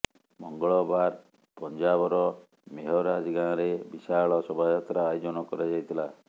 ମଙ୍ଗଳବାର ପଞ୍ଜାବର ମେହରାଜ ଗାଁରେ ବିଶାଳ ଶୋଭାଯାତ୍ରା ଆୟୋଜନ କରାଯାଇଥିଲା